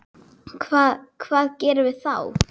Hvað, hvað gerum við þá?